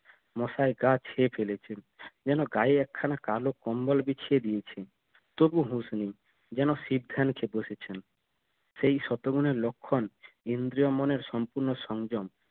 মশায় গা ছেয়ে ফেলেছে যেনো গায়ে একখানা কালো কম্বল বিছিয়ে দিয়েছে তবুও হুশ নেই যেন শিব ধ্যান বসেছেন সেই শতগুনের লক্ষন ইন্দ্রিয় মনের সম্পূর্ণ সংযম